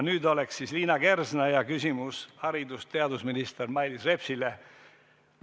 Nüüd on Liina Kersna küsimus haridus- ja teadusminister Mailis Repsile.